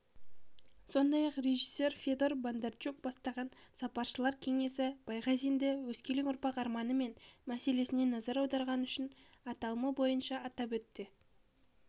сондай-ақ режиссер федор бондарчук бастаған сарапшылар кеңесі байғазинді өскелең ұрпақтың армандары мен мәселелеріне назар аударғаны үшін аталымы бойынша атап өтті